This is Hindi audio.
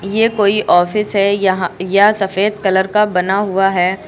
ये कोई ऑफिस है यहां यह सफेद कलर का बना हुआ है।